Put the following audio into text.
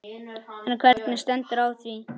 En hvernig stendur á því?